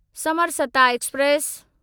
Samarsata express